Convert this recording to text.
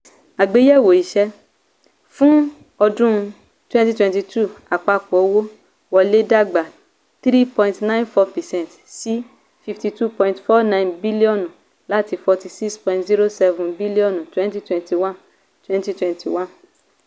àgbéyẹ̀wò ìṣe: fún ọdún twenty twenty two àpapọ̀ owó wọlé dàgbà thirteen point nine four percent sí n fifty two point four nine bíllíọ̀nù láti n forty six point zero seven bíllíọ̀nù twenty twenty one. twenty twenty one.